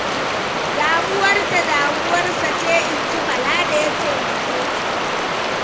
Damuwarta damuwarsa ce ai, inji Bala da ya taimake ta.